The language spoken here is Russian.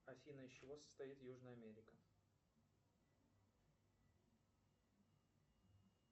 афина из чего состоит южная америка